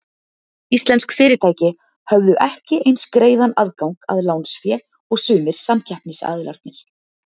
Íslensk fyrirtæki höfðu ekki eins greiðan aðgang að lánsfé og sumir samkeppnisaðilarnir.